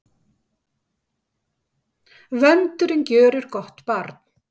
Vöndurinn gjörir gott barn.